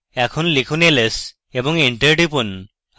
এখন লিখুন ls এবং enter টিপুন